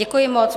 Děkuji moc.